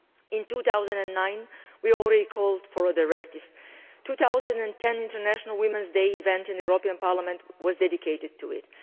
In 2009 we had already called for a directive. In 2010 the International Women's Day event in the European Parliament was dedicated to it.